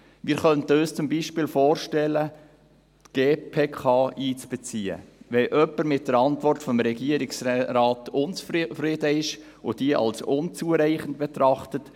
Wir könnten uns zum Beispiel vorstellen, die GPK einzubeziehen, wenn jemand mit der Antwort des Regierungsrates unzufrieden ist und diese als unzureichend betrachtet.